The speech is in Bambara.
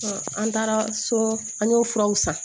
an taara so an y'o furaw san